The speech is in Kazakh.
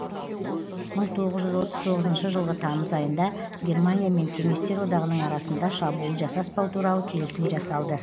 мың тоғыз жүз отыз тоғызыншы жылғы тамыз айында германия мен кеңестер одағының арасында шабуыл жасаспау туралы келісім жасалды